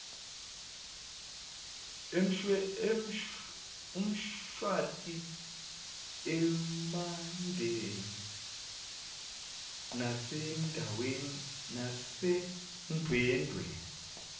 emshwathi emandeni nasendwedwe